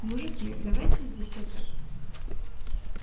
мужики давайте здесь это